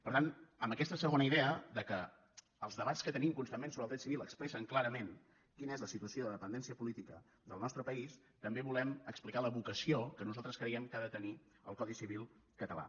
per tant amb aquesta segona idea que els debats que tenim constantment sobre el dret civil expressen clarament quina és la situació de dependència política del nostre país també volem explicar la vocació que nosaltres creiem que ha de tenir el codi civil català